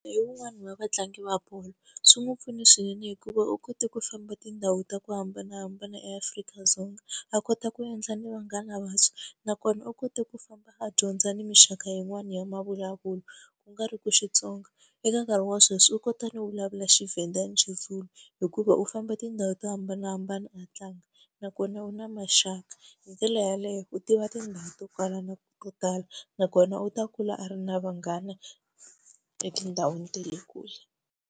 Hi wun'wani wa vatlangi va bolo, swi n'wi pfune swinene hikuva u kote ku famba tindhawu ta ku hambanahambana eAfrika-Dzonga, a kota ku endla ni vanghana vantshwa. Nakona u kote ku famba a dyondza ni minxaka yin'wani ya mavulavulelo, u nga ri ku Xitsonga. Eka nkarhi wa sweswi u kota no vulavula xiVenda na xiZulu hikuva u famba tindhawu to hambanahambana a tlanga. Nakona u na maxaka hi ndlela yaleyo u tiva tindhawu ta kwala na to tala nakona u ta kula a ri na vanghana etindhawini ta le kule.